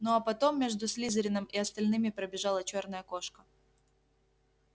ну а потом между слизерином и остальными пробежала чёрная кошка